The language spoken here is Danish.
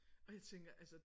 Og jeg tænker altså